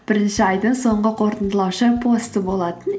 бірінші айдың соңғы қорытындылаушы посты болатын